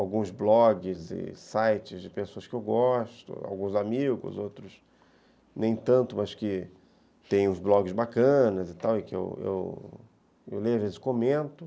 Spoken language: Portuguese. alguns blogs e sites de pessoas que eu gosto, alguns amigos, outros nem tanto, mas que têm uns blogs bacanas e tal, e que eu eu leio, às vezes comento.